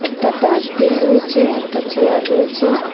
একটা ডাস্টবিন রয়েছে একটা চেয়ার রয়েছে।